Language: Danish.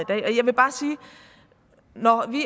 når vi